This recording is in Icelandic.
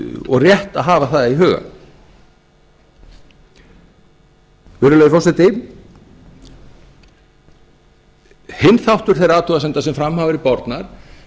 og rétt að hafa það í huga virðulegi forseti hinn þáttur þeirra athugasemda sem fram hafa verið bornar